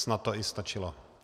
Snad to i stačilo.